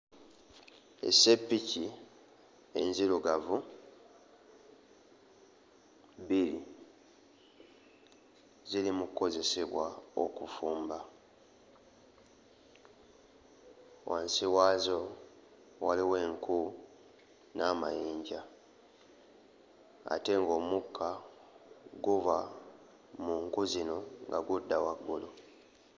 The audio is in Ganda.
Esseppiki enzirugavu bbiri ziri mu kkozesebwa okufumba. Wansi waazo waliwo enku n'amayinja ate ng'omukka guva mu nku zino nga gudda waggulu.